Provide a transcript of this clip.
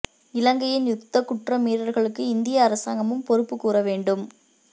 இலங்கையின் யுத்தக் குற்ற மீறல்களுக்கு இந்திய அரசாங்கமும் பொறுப்புக் கூற வேண்டும்